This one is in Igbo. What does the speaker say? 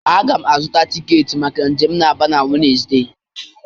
Aga m azụta tiketi maka njem m na Aba na Wenezde.